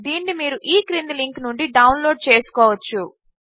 దీనిని మీరు ఈ క్రింది లింక్ నుండి డౌన్లోడ్ చేసుకోవచ్చు